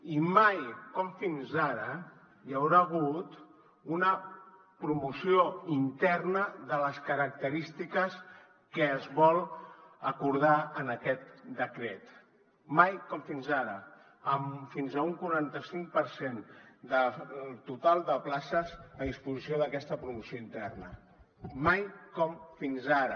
i mai com fins ara hi haurà hagut una promoció interna de les característiques que es vol acordar en aquest decret mai com fins ara amb fins a un quaranta cinc per cent del total de places a disposició d’aquesta promoció interna mai com fins ara